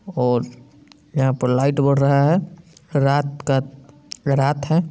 और यहाँ पर लाइट बर रहा रात का रात है ।